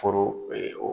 Foro